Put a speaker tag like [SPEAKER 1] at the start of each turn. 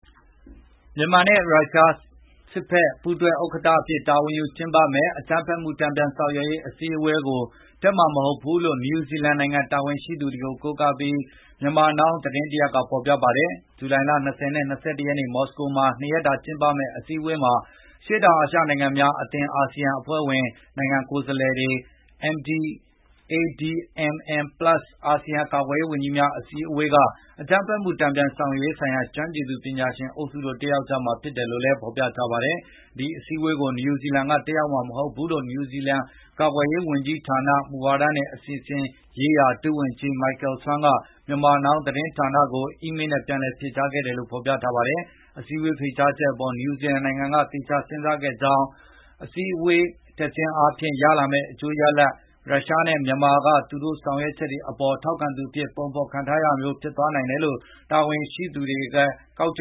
[SPEAKER 1] မြန်မာနဲ့ ရုရှားစစ်ဖက်က ပူးတွဲဥက္ကဌအဖြစ် တာဝန်ယူကျင်းပမယ့် အကြမ်းဖက်မှုတန်ပြန်ဆောင်ရွက်ရေး အစည်းအဝေးကို တက်မှာမဟုတ်ဘူးလို့ နယူးဇီလန်နိုင်ငံတာဝန်ရှိသူကို ကိုးကားပြီး Myanmar Now သတင်းတရပ်က ဖော်ပြပါတယ်။ ဂျူလိုင် ၂၀ နဲ့ ၂၁ ရက် မော်စကိုမြို့မှာ (၂)ရက်တာကျင်းပမယ့် အစည်းအဝေးမှာ အရှေ့တောင်အာရှနိုင်ငံများအသင်း (ASEAN) အဖွဲ့ဝင်နိုင်ငံကိုယ်စားလှယ်တွေ၊ ADMM-Plus အာဆီယံကာကွယ်ရေးဝန်ကြီးများအစည်းအဝေးက အကြမ်းဖက်မှုတန်ပြန်ဆောင်ရွက်ရေးဆိုင်ရာ ကျွမ်းကျင်ပညာရှင်အုပ်စု တို့တက်ရောက်ကြမှာဖြစ်တယ်လို့လည်း ဖော်ပြထားပါတယ်။ ဒီအစည်းအဝေးကို နယူးဇီလန်ကတက်ရောက်မှာမဟုတ်ဘူးလို့ နယူးဇီလန်ကာကွယ်ရေးဝန်ကြီးဌာန၊ မူဝါဒနဲ့ အစီအစဉ်ရေးရာ ဒုဝန်ကြီး Michael Swain က Myanmar Now သတင်းဌာနကို အီးမေးလ်နဲ့ပြန်လည်ဖြေကြားခဲ့တယ်လို့လည်း ဖော်ပြထားပါတယ်။ အစည်းအဝေးဖိတ်ကြားချက်အပေါ် နယူးဇီလန်နိုင်ငံက သေချာစဉ်းစားခဲ့ကြောင်း၊ အစည်းအဝေးကိုတက်ခြင်းအားဖြင့် ရလာမယ့် အကျိုးရလာဒ်ထက် ရုရှားနဲ့မြန်မာ ကသူတို့ရဲ့ ဆောင်ရွက်ချက်တွေအပေါ် ထောက်ခံသူအဖြစ် ပုံဖော်ခံရတာမျိုး ပိုဖြစ်သွားနိုင်တယ်လို့ တာဝန်ရှိသူတွေ ကောက်ချ